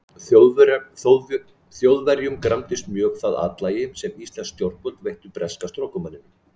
Þjóðverjum gramdist mjög það atlæti, sem íslensk yfirvöld veittu breska strokumanninum.